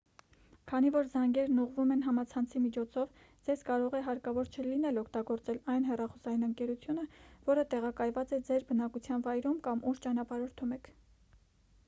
քանի որ զանգերն ուղղվում են համացանցի միջոցով ձեզ կարող է հարկավոր չլինել օգտագործել այն հեռախոսային ընկերությունը որը տեղակայված է ձեր բնակության վայրում կամ ուր ճանապարհորդում եք